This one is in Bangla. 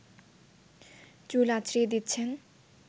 চুল আঁচড়িয়ে দিচ্ছেন